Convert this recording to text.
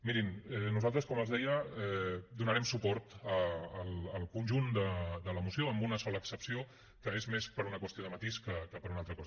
mirin nosaltres com els deia donarem suport al conjunt de la moció amb una sola excepció que és més per una qüestió de matís que per una altra cosa